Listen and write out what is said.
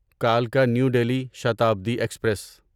کلکا new Delhi Shatabdi express